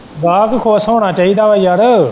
ਗਾਹਕ ਖ਼ੁਸ ਹੋਣਾ ਚਾਹੀਦਾ ਵਾ ਯਾਰ।